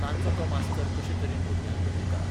तांचो तो मास्तर कशे तरेन भुरग्यांक घडयता.